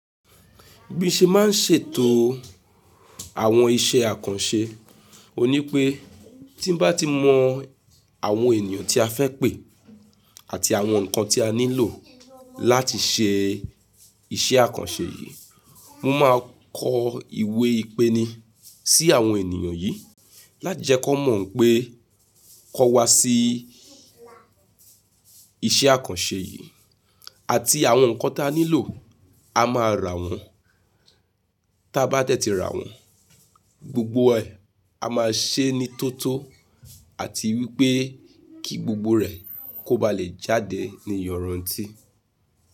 Bí mo ṣe máa ń ṣètò àwọn iṣẹ́ àkànṣe, òní pé tí bá ti mọ àwọn ènìyàn tí a fẹ́ pè àti àwọn nǹkan tí a nílò láti ṣe iṣẹ́ àkànṣe yìí, mo máa kọ ìwé ìpéní sí àwọn ènìyàn yìí láti jẹ́ kí wọ́n mọ̀ pé kọ́ wa sí iṣẹ́ àkànṣe yìí àti àwọn nǹkan tí a nílò, a máa rà wọ́n, tí a bá tẹ́tí rà wọ́n, gbogbo ẹ a máa ṣe é ní tótó àti wípé kí gbogbo rẹ̀ kó ba lè jáde ní yọ̀rọ̀ntí.